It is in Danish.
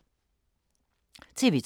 TV 2